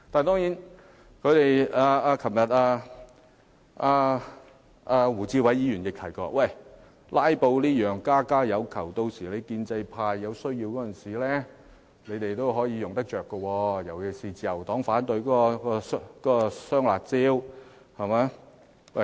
當然，胡志偉議員昨天亦提到"拉布"是家家有求的，建制派有需要時也可以運用，尤其自由黨反對"雙辣招"時可運用。